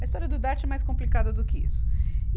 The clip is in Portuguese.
A história do Idarte é mais complicada do que isso. E